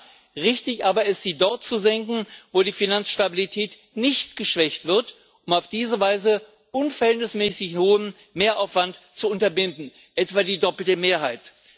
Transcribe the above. Ja, richtig aber ist, sie dort zu senken, wo die Finanzstabilität nicht geschwächt wird, um auf diese Weise unverhältnismäßig hohen Mehraufwand zu unterbinden, etwa die doppelte Mehrheit.